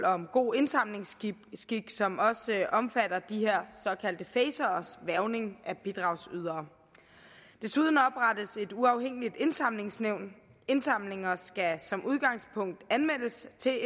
om god indsamlingsskik som også omfatter de her såkaldte faceres hvervning af bidragsydere desuden oprettes et uafhængigt indsamlingsnævn indsamlinger skal som udgangspunkt anmeldes til